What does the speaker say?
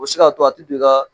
O bɛ se k'a to a tɛ don i ka